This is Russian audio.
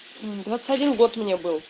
двадцать один год мне был